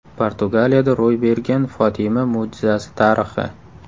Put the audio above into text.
Portugaliyada ro‘y bergan Fotima mo‘jizasi tarixi.